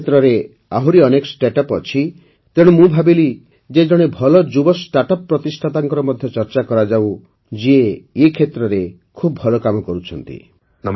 ଏ କ୍ଷେତ୍ରରେ ଆହୁରି ଅନେକ ଷ୍ଟାର୍ଟଅପ୍ ଅଛି ତେଣୁ ମୁଁ ଭାବିଲି ଯେ ଜଣେ ଯୁବ ଷ୍ଟାର୍ଟଅପ୍ ପ୍ରତିଷ୍ଠାତାଙ୍କର ମଧ୍ୟ ଚର୍ଚ୍ଚା କରାଯାଉ ଯିଏ ଏ କ୍ଷେତ୍ରରେ ଖୁବ୍ ଭଲ କାମ କରୁଛନ୍ତି